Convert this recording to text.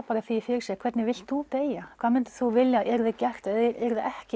því fyrir sér hvernig vilt þú deyja hvað myndir þú vilja að yrði gert eða yrði ekki